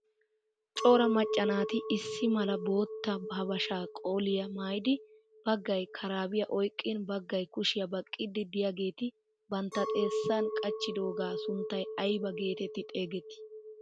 Cora macca naati issi mala bootta habashaa qoliyaa maayidi baggay karaabiya oyqqin baggay kushiya baqqiidi diyaageeti bantta xeessan qachchidoogaa sunttay aybaa geetetti xeegettii?